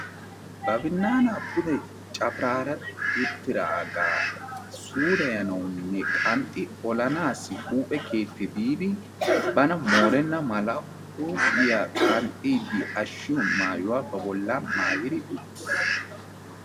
Ba binnaanaa pude cafaraara uttidaagaa suureyanawunne qanxxi olanaassi huuphe keetti biidi bana moorenna mala huuphiya qanxxiiddi ashshiyo maayuwaa ba bolla maayidi uttiis.